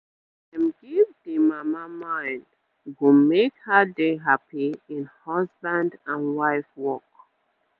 ah dem give d mama mind go make her dey happy in husband and wife work